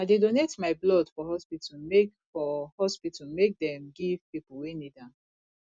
i dey donate my blood for hospital make for hospital make dem give pipo wey need am